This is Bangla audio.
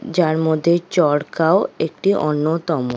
যার মধ্যে চরকাও একটি অন্যতম--